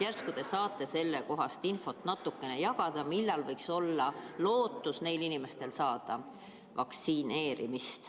Järsku te saate natuke infot jagada selle kohta, millal võiks neil inimestel olla lootus saada vaktsineeritud.